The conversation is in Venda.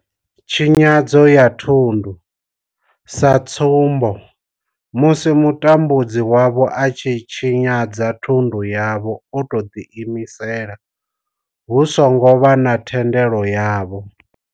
Tshinyadzo ya thundu, sa tsumbo, musi mutambudzi wavho a tshi tshinyadza thundu yavho o tou ḓiimisela hu songo vha na thendelo yavho.